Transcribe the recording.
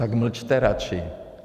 Tak mlčte radši.